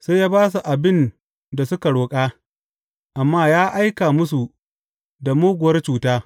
Sai ya ba su abin da suka roƙa, amma ya aika musu da muguwar cuta.